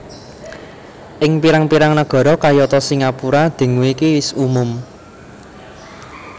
Ing pirang pirang nagara kayata singapura dengue iku wis umum